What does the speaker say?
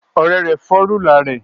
Ọrẹ rẹ fọ rulạ rẹ